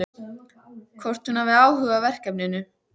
Hvort hún hafi áhuga á verkinu.